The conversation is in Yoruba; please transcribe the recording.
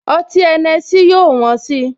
Ọtí Henessy yóò wón si